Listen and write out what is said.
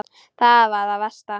Það er það versta.